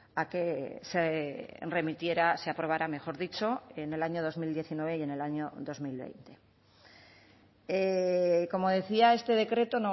a que se remitiera se aprobara mejor dicho en el año dos mil diecinueve y en el año dos mil veinte como decía este decreto